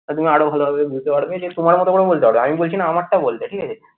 তুমি আরো ভালোভাবে বুঝতে পারবে যে তোমার মতো করে বলতে পারবে আমি বলছি না আমারটা বলবে ঠিক আছে